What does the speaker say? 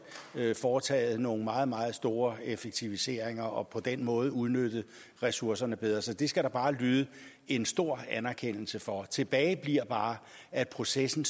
foretaget nogle meget meget store effektiviseringer og på den måde udnyttet ressourcerne bedre så det skal der bare lyde en stor anerkendelse for tilbage bliver bare at processen